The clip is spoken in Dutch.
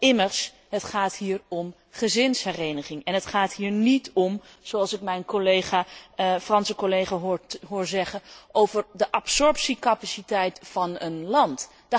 Immers, het gaat hier om gezinshereniging en het gaat hier niet om zoals ik mijn Franse collega hoor zeggen over de absorptiecapaciteit van een land.